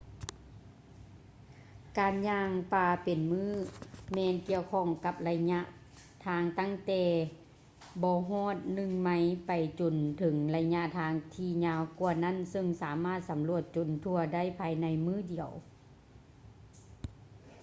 ການຍ່າງປ່າເປັນມື້ແມ່ນກ່ຽວຂ້ອງກັບໄລຍະທາງຕັ້ງແຕ່ບໍ່ຮອດໜຶ່ງໄມລໄປຈົນເຖິງໄລຍະທາງທີ່ຍາວກວ່ານັ້ນເຊິ່ງສາມາດສຳຫຼວດຈົນທົ່ວໄດ້ພາຍໃນມື້ດຽວ